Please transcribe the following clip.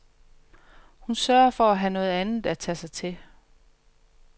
Hun sørger for at have noget andet at tage sig til.